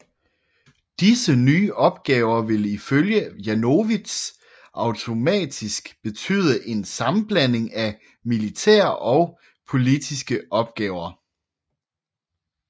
Disse nye opgaver ville ifølge Janowitz automatisk betyde en sammenblanding af militære og politiske opgaver